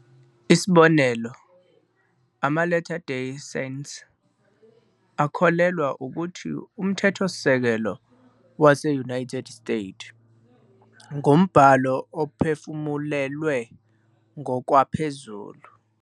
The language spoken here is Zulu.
Isibonelo, ama-Latter Day Saints akholelwa ukuthi uMthethosisekelo wase-United States ngumbhalo ophefumulelwe ngokwaphezulu.